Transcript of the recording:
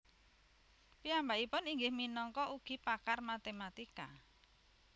Piyambakipun inggih minangka ugi pakar matematika